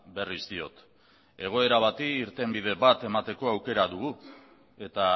berriz diot egoera bati irtenbide bat emateko aukera dugu eta